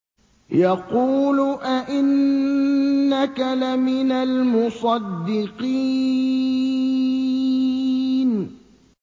يَقُولُ أَإِنَّكَ لَمِنَ الْمُصَدِّقِينَ